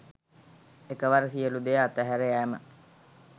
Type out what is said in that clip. එකවර සියලු දෙය අතහැර යෑම